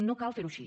no cal fer ho així